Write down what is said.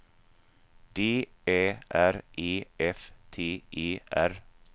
D Ä R E F T E R